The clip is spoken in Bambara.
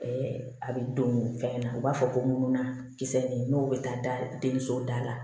a bɛ don fɛn na u b'a fɔ ko mununa kisɛ nin n'o bɛ taa da den so da la